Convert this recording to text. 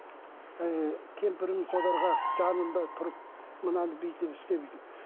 ііі кемпірім жанында тұрып мынаны бүйтіп істе бүйтіп